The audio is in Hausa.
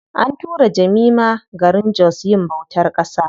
An tura Jemima garin jos yin bautar ƙasa.